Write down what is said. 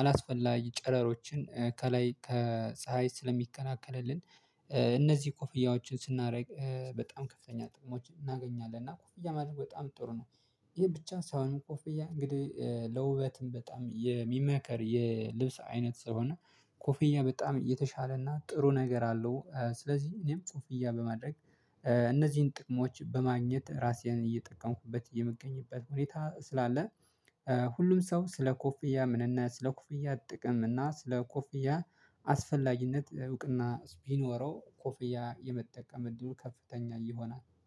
አላስፈላጊ ጨረሮችን ከላይ ከፀሀይ ስለሚከላከልልን። እነዚህ ኮፍያዎች ስናደርግ በጣም ከፍተኛ ጥቅሞች እናገኛለን እና ኮፍያ ማድረግ በጣም ጥሩ ነው። ይሄ ብቻ ሳይሆን ኮፍያ እንግዲህ ለውበትም በጣም የሚመከር የልብስ አይነት ስለሆነ ኮፍያ በጣም የተሻለና ጥሩ ነገር አለው። ስለዚህ እኔም ኮፍያ በማድረግ እነዚህን ጥቅሞች በማግኘት ራሴን እየጠቀምኩበት የምገኝበት ሁኔታ ስላለ። ሁሉም ሰው ስለ ኮፍያ ምንነት ስለ ኮፍያ ጥቅም እና ስለ ኮፍያ አስፈላጊነት እውቅና ቢኖረው ኮፍያ የመጠቀም እድሉ ከፍተኛ ይሆናል